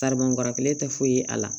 Taribɔn kɔrɔkɛ tɛ foyi ye a la